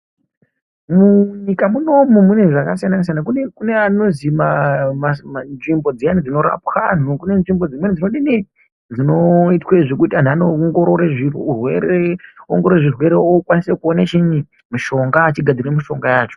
Munyika munomu mune zvakasiyana siyana. Kunekune anozi maamama nzvimbo dziyani dzinorapwa anhu ,nzvimbo dzinodini dzinoitwe zvekuti anhu anoongororwe, oongororwe zvirwere okwanise kuone chiini mishonga, achigadzire mishonga yacho.